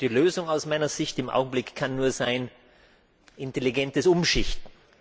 Die Lösung aus meiner Sicht kann im Augenblick nur sein intelligentes Umschichten.